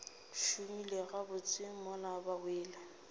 šomile gabotse mola ba wele